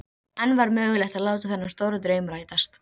Fyrst sýndist henni pabbi sinn vera að kyssa hana.